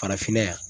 Farafinna yan